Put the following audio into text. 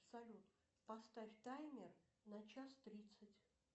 салют поставь таймер на час тридцать